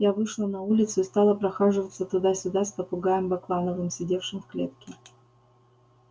я вышла на улицу и стала прохаживаться туда-сюда с попугаем баклановым сидевшим в клетке